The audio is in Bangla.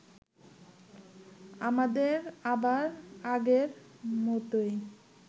আমাদের আবার আগের মতোই